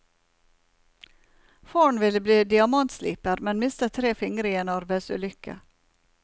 Faren ville bli diamantsliper, men mistet tre fingere i en arbeidsulykke.